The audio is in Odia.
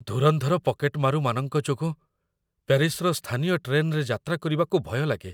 ଧୁରନ୍ଧର ପକେଟମାରୁମାନଙ୍କ ଯୋଗୁଁ ପ୍ୟାରିସର ସ୍ଥାନୀୟ ଟ୍ରେନ୍‌ରେ ଯାତ୍ରା କରିବାକୁ ଭୟଲାଗେ ।